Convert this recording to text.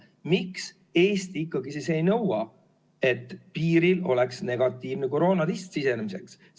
Miks Eesti ikkagi ei nõua, et piiril oleks negatiivne koroonatest sisenemiseks?